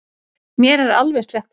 Mér er alveg slétt sama.